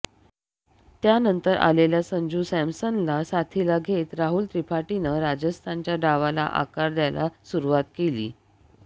त्यानंतर आलेल्या संजू सॅमसनला साथीला घेत राहुल त्रिपाठीनं राजस्थानच्या डावाला आकार द्यायला सुरुवात केली